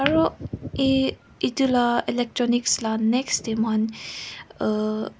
aroee etula electronics la next tey moian uhh.